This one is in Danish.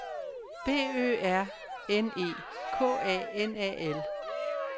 B Ø R N E K A N A L